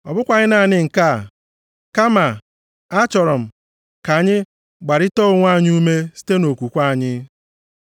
Ọ bụkwaghị naanị nke a, kama achọrọ m ka anyị gbarịtaa onwe anyị ume site nʼokwukwe anyị.